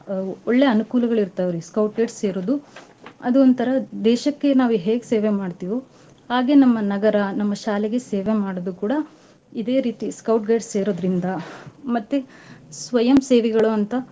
ಆ ಒಳ್ಳೇ ಅನ್ಕೂಲಗಳಿರ್ತಾವ್ರೀ Scout Guides ಸೇರುದು ಅದು ಒಂತರಾ ದೇಶಕ್ಕೆ ನಾವ್ ಹೇಗ್ ಸೇವೆ ಮಾಡ್ತಿವೋ ಹಾಗೇ ನಮ್ಮ ನಗರ ನಮ್ಮ ಶಾಲೆಗೆ ಸೇವೆ ಮಾಡೋದು ಕೂಡಾ ಇದೆ ರೀತಿ Scout Guides ಸೇರೋದ್ರಿಂದ ಮತ್ತೆ ಸ್ವಯಂ ಸೇವೆಗಳು ಅಂತ.